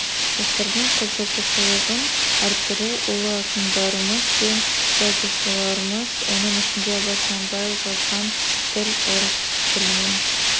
жастардың қызығушылығын арттыру ұлы ақындарымыз бен жазушыларымыз оның ішінде абай құнанбаев жазған тіл орыс тілінің